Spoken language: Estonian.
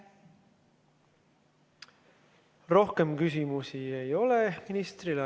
Rohkem küsimusi ministrile ei ole.